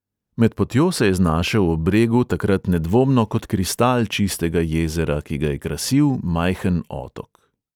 Med potjo se je znašel ob bregu takrat nedvomno kot kristal čistega jezera, ki ga je krasil majhen otok.